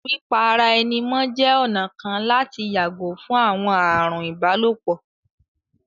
Pípa ara ẹni mọ́ jẹ́ ọ̀nà kan láti yàgò fún àwọn ààrùn ìbálòpọ̀